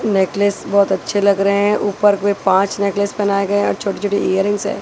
Necklace बहोत अच्छे लग रहे हैं ऊपर कोई पांच नेकलेस पहनाए गए और छोटी छोटी इयररिंग्स है।